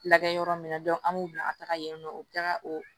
Lagɛ yɔrɔ min na an b'u bila ka taga yen nɔ u bi taga o